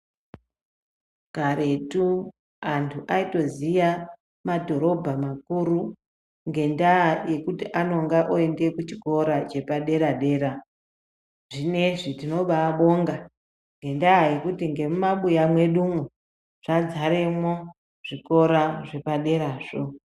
Karetu, antu ayitoziya madhorobha makuru, ngendaa yekuti anonga oyenda kuchikora chepadera-dera. Zvinezvi tinobaabonga ngendaa yekuti ngemumabuya mwedumo, zvadzaremwo zvikora zvepaderazvo.